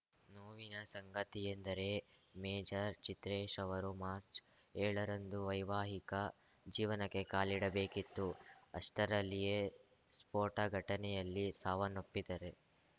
ನೋವಿನ ಸಂಗತಿಯೆಂದರೆ ಮೇಜರ್‌ ಚಿತ್ರೇಶ್‌ ಅವರು ಮಾರ್ಚ್ಏಳರಂದು ವೈವಾಹಿಕ ಜೀವನಕ್ಕೆ ಕಾಲಿಡಬೇಕಿತ್ತು ಅಷ್ಟರಲ್ಲಿಯೇ ಸ್ಫೋಟ ಘಟನೆಯಲ್ಲಿ ಸಾವನ್ನಪ್ಪಿದರೆ